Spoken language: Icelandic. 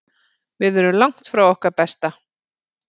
Við erum langt frá okkar besta.